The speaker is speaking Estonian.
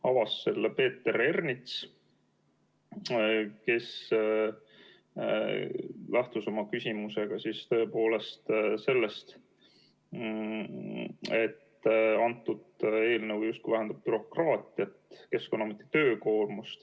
Avas selle Peeter Ernits, kes lähtus oma küsimusega sellest, et eelnõu justkui vähendab bürokraatiat, Keskkonnaameti töökoormust.